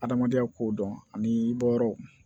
Adamadenya ko dɔn ani i bɔ yɔrɔw